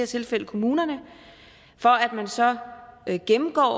tilfælde kommunerne at man så gennemgår